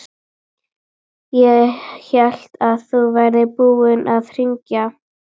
Ég hélt að þú værir búinn að hringja.